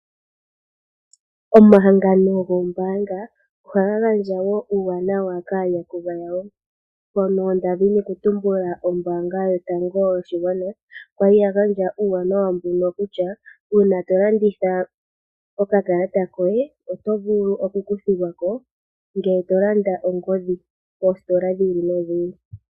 Omahangano goombaanga ohaga gandja uuwanawa kaayakulwa yawo. ombaanga yotango yopashigwana kwali ya gandja uuwanawa mbuno kutya uuna to landitha okakalata koye otovulu oku kuthilwako ngele tolanda ongodhi poositola dhi ili nodhi ili.